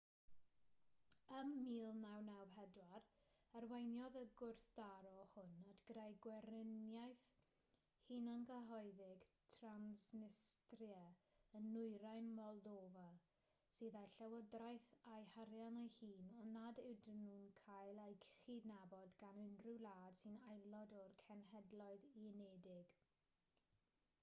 ym 1994 arweiniodd y gwrthdaro hwn at greu gweriniaeth hunangyhoeddig transnistria yn nwyrain moldofa sydd â'i llywodraeth a'i harian ei hun ond nad yw'n cael ei chydnabod gan unrhyw wlad sy'n aelod o'r cenhedloedd unedig